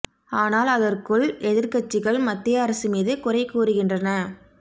ஆனால் அதற்குள் எதிர்கட்சிகள் மத்திய அரசு மீது குறை கூறுகின்றன